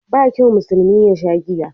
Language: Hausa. Ba kyau musulmi yasha giya